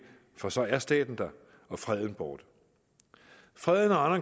for så er staten der og freden borte freden og